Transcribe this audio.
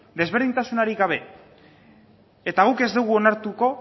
desberdintasunarik gabe eta guk ez dugu onartuko